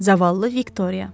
Zavallı Viktoriya.